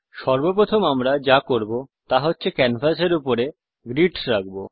সর্বপ্রথম আমি যা করব তা হছে ক্যানভাস র উপর গ্রিডস রাখব